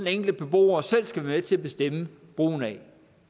enkelte beboer selv skal være med til at bestemme brugen af